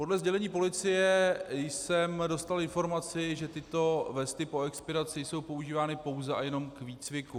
Podle sdělení policie jsem dostal informaci, že tyto vesty po expiraci jsou používány pouze a jenom k výcviku.